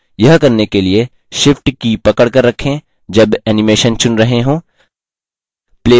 यह करने के लिए shift की पकड़कर रखें जब animation चुन रहे to